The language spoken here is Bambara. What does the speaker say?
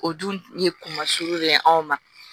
O dun ye kuma sugu de ye anw ma